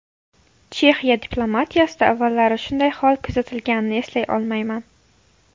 Chexiya diplomatiyasida avvallari shunday hol kuzatilganini eslay olmayman.